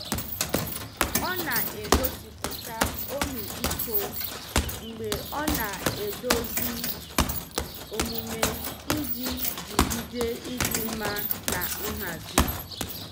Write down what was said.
Ọ na-egosipụta ọmịiko mgbe ọ na-edozi omume iji jigide ịdị mma na nhazi.